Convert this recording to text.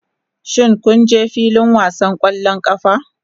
Shin kun je filin wasan ƙwallon ƙafa?